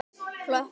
Klöppum